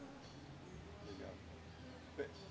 obrigado.